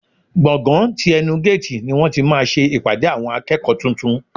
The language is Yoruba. Gbọ̀ngán ti ẹnu géètì ni wọ́n ti máa ṣe ìpàdé àwọn akẹ́kọ̀ọ́ tuntun.